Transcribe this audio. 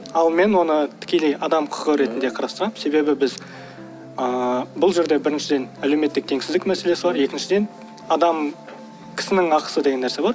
ал мен оны тікелей адам құқығы ретінде қарастырамын себебі біз ыыы бұл жерде біріншіден әлеуметтік теңсіздік мәселесі бар екіншіден адам кісінің ақысы деген нәрсе бар